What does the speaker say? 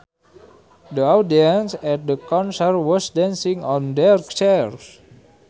The audience at the concert was dancing on their chairs